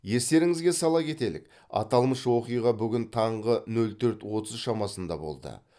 естеріңізге сала кетелік аталмыш оқиға бүгін таңғы нөл төрт отыз шамасында болды